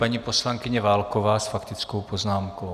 Paní poslankyně Válková s faktickou poznámkou.